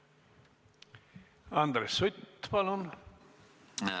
Andres Sutt, palun!